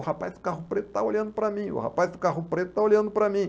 O rapaz do carro preto está olhando para mim, o rapaz do carro preto está olhando para mim.